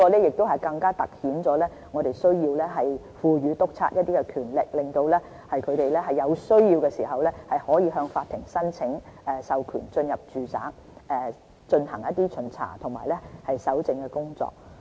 這情況更突顯我們需要賦予督察一些權力，讓他們在有需要的時候，可以向法庭申請授權進入住宅進行巡查及搜證的工作。